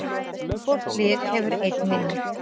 Hvort lið hefur einn vinning